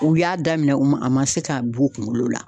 U y'a daminɛ u ma a ma se k'a bɔ u kunkolo la